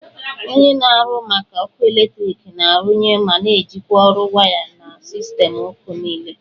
Onye na-ahụ maka ọkụ eletrik na-arụnye ma na-ejikwa ọrụ waya na sistemụ ọkụ niile